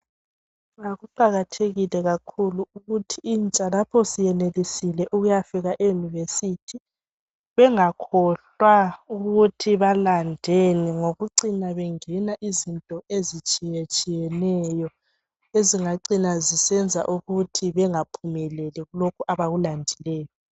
Kuqakathekile kakhulu ukuthi intsha lapho isiyenelisile ukuyafika eyunivesithi bengakhohlwa ukuthi balandeni ngokucima bengena izinto ezitshiyetshiyeneyo esingacina zisenza ukuthi bangaphumeleli kulokhu abakulandileyo.